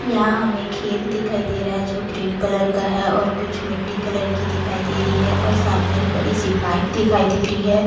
या हमे खेत दिखाई देरा है जो ग्रीन कलर का है और कुछ मिट्टी कलर की दिखाई देरी है और सामने एक बड़ी सी पाइप दिखाई देरी है।